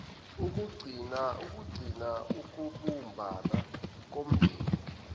ukugcinas ukubumbana komndeni